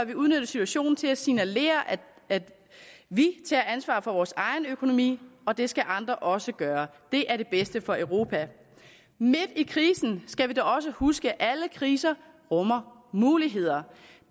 vi udnytte situationen til at signalere at vi tager ansvar for vores egen økonomi og det skal andre også gøre det er det bedste for europa midt i krisen skal vi da også huske at alle kriser rummer muligheder